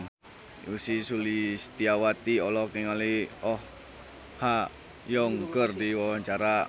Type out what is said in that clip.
Ussy Sulistyawati olohok ningali Oh Ha Young keur diwawancara